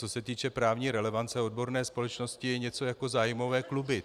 Co se týče právní relevance, odborné společnosti jsou něco jako zájmové kluby.